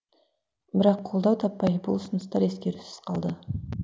бірақ қолдау таппай бұл ұсыныстар ескерусіз қалды